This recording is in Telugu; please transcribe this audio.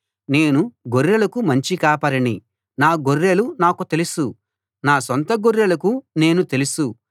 నేను గొర్రెలకు మంచి కాపరిని నా గొర్రెలు నాకు తెలుసు నా సొంత గొర్రెలకు నేను తెలుసు